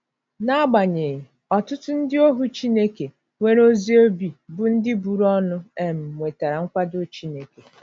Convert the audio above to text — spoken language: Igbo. N'agbanyeghị, ọtụtụ ndị ohu Chineke nwere ezi obi bụ́ ndị buru ọnụ um nwetara nkwado Chineke.